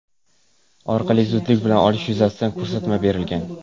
orqali zudlik bilan olish yuzasidan ko‘rsatma berilgan.